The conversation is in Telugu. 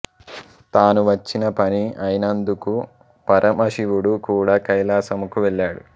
తాను వచ్చిన పని అయినందుకు పరమశివుడు కూడా కైలాసముకు వెళ్ళాడు